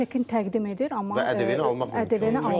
Yox, çekin təqdim edir, amma ƏDV-ni almaq mümkün olmur.